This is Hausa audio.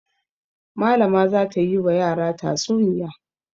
Malama za ta yi wa yara tatsuniya.